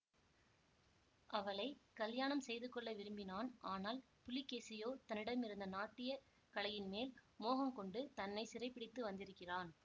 அவளை கலியாணம் செய்து கொள்ள விரும்பினான் ஆனால் புலிகேசியோ தன்னிடமிருந்த நாட்டியக் கலையின் மேல் மோகங்கொண்டு தன்னை சிறைப்பிடித்து வந்திருக்கிறான்